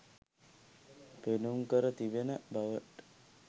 පෙන්නුම් කර තිබෙන බවට